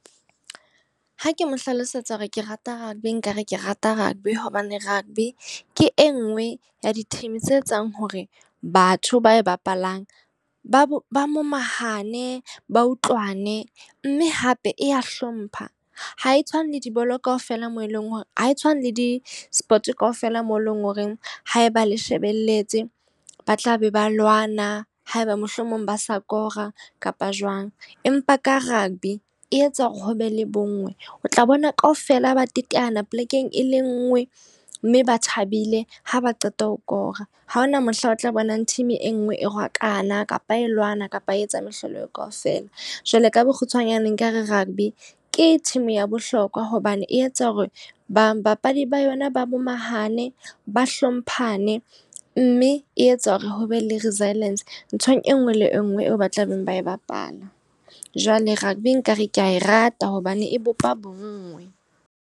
Ha ke mo hlalosetsa hore ke rata rugby. Nka re ke rata rugby hobane rugby ke e nngwe ya di-team tse etsang hore batho ba e bapalang, ba bo ba momahane, ba utlwane. Mme hape e ya hlompha, ha e tshwane le dibolo kaofela moo e leng hore ha e tshwane le di-sport kaofela moo e leng horeng haeba le shebelletse ba tlabe ba lwana. Haeba mohlomong ba sa kora kapa jwang. Empa ka rugby, e etsa hore ho be le bo nngwe. O tla bona ka ofela ba teteana polekeng e le nngwe mme ba thabile ha ba qeta ho kora. Haona mohla o tla bonang team e nngwe e rwakana kapa e lwana kapa a etsa mehlolo eo kaofela. Jwale ka bokgutshwanyane nkare rugby ke team ya bohlokwa hobane e etsa hore ba papadi ba yona ba momahane, ba hlomphane. Mme e etsa hore ho be le resilience nthong e nngwe le e nngwe eo ba tla beng ba e bapala. Jwale rugby nka re kea e rata hobane e bopa bonngwe.